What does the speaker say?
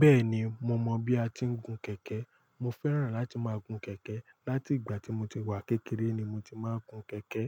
Bẹ́ẹ̀ni, mo mọ bí a tí ń gun kẹ̀kẹ́. Mo fẹ́ràn láti máa gun kẹ̀kẹ́. Láti ìgbà tí mo ti wà kékeré ni mo ti máa ń gun kẹ̀kẹ́.